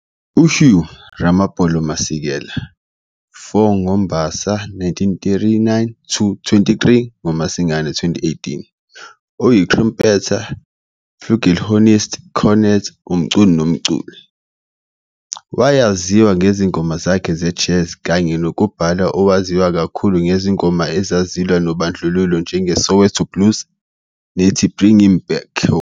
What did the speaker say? U-Hugh Ramopolo Masekela, 4 ngoMbasa 1939 - 23 ngoMasingana 2018, uyi-trumpeter, flugelhorn ist, cornet, umculi nomculi. Wayaziwa ngezingoma zakhe ze-jazz, kanye nokubhala owaziwa kakhulu ngezingoma ezazilwa nobandlululo njenge "Soweto Blues" nethi "Bring Him Back Home".